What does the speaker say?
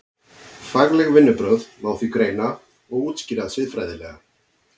Fagleg vinnubrögð má því greina og útskýra siðfræðilega.